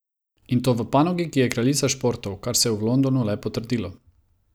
In to v panogi, ki je kraljica športov, kar se je v Londonu le potrdilo.